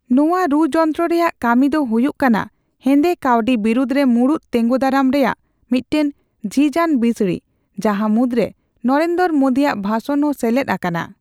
ᱱᱚᱣᱟ ᱨᱩ ᱡᱚᱱᱛᱨᱚ ᱨᱮᱭᱟᱜ ᱠᱟᱹᱢᱤ ᱫᱚ ᱦᱩᱭᱩᱜ ᱠᱟᱱᱟ ᱦᱮᱸᱫᱮ ᱠᱟᱣᱰᱤ ᱵᱤᱨᱩᱫᱷ ᱨᱮ ᱢᱩᱬᱩᱛ ᱛᱮᱸᱜᱳᱫᱟᱨᱟᱢ ᱨᱮᱭᱟᱜ ᱢᱤᱫᱴᱟᱝ ᱡᱷᱤᱡᱼᱟᱱ ᱵᱤᱥᱲᱤ ᱡᱟᱦᱟᱸ ᱢᱩᱫᱽᱨᱮ ᱱᱚᱨᱮᱱᱫᱚᱨᱚ ᱢᱳᱰᱤᱭᱟᱜ ᱵᱷᱟᱥᱚᱱ ᱦᱚᱸ ᱥᱮᱞᱮᱫ ᱟᱠᱟᱱᱟ ᱾